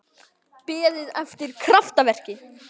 Beðið eftir kraftaverki?